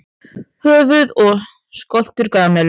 Höfuð og skoltur grameðlu.